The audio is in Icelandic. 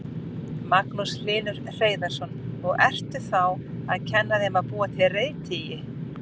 Magnús Hlynur Hreiðarsson: Og ertu þá að kenna þeim að búa til reiðtygi?